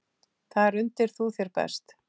Þar undir þú þér best.